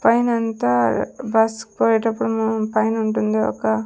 పైనంతా బస్ కి పోయేటప్పుడు మొహం పైనుంటుంది ఒక--